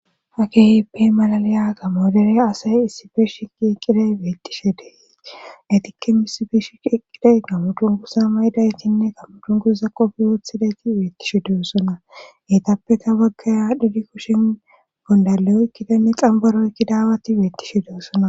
ha kehipe malaliya gamo dere asay issife shiqi eqqiday beettishe deytikke mis biish eqqiday gammudun kusa mayidaytinne kammudun kuza qofi woothidayti beettishe duossona geetappeka baggaya dhidi kushen gondaleyoykkidanni xambaroykkidaawati beettishe de7oosona.